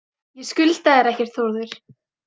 Ég skulda þér ekkert, Þórður.